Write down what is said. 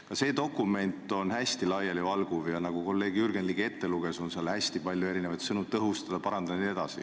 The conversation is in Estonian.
Ka see dokument on hästi laialivalguv ja nagu kolleeg Jürgen Ligi ette luges, on seal hästi palju selliseid sõnu nagu "tõhustada", "parandada" jne.